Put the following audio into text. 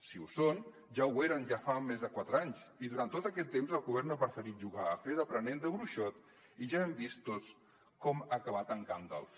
si ho són ja ho eren ja fa més de quatre anys i durant tot aquest temps el govern ha preferit jugar a fer d’aprenent de bruixot i ja hem vist tots com ha acabat en gandalf